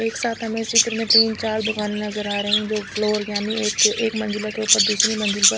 एक साथ हमे इस चित्र में तीन चार दुकान नज़र आरही है जो फ्लोर यानी एक मंजिले के ऊपर दूसरी मंजिल पर--